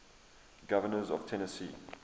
governors of tennessee